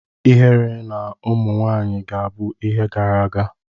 Ihere na ụmụ nwanyị ga-abụ ihe gara aga